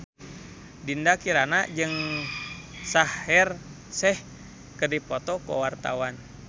Dinda Kirana jeung Shaheer Sheikh keur dipoto ku wartawan